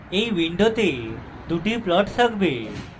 এই window দুটি plots থাকবে